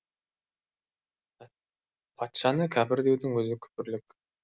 патшаны кәпір деудің өзі күпірлік